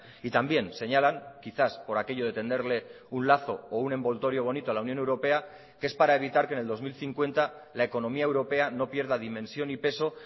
y también señalan quizás por aquello de tenderle un lazo o un envoltorio bonito a la unión europea que es para evitar que en el dos mil cincuenta la economía europea no pierda dimensión y peso